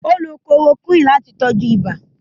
Ó lo chloroquine láti tọ́jú ibà.